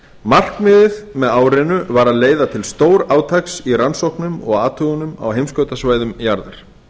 markmiðið með árinu var að leiða til stórátaks í rannsóknum og athugunum á heimskautasvæðum jarðar